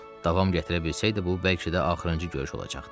Davam gətirə bilsəydi bu bəlkə də axırıncı görüş olacaqdı.